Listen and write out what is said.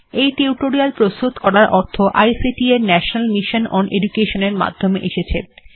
এই টিউটোরিয়াল্ প্রস্তুত করার অর্থ আইটিসি এর ন্যাশনাল মিশন ওন এডুকেশন এর মাধ্যমে এসেছে